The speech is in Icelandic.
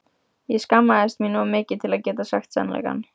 Ég skammaðist mín of mikið til að geta sagt sannleikann.